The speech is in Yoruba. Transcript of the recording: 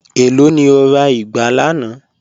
Ẹ̀ló ni o rà igbà lànà?